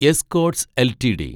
Escorts LTD